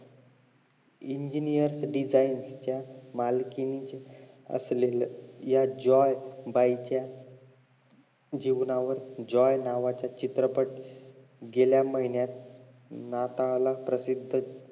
engineers design च्या मालकीती असलेल्या हह्या जॉय बाई च्या जीवनावर जॉय नावाचा चित्रपट गेल्या महिन्यात नाताळाला प्रसिद्ध